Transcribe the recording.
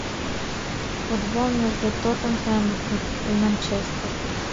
футбол между тоттенхэм и манчестер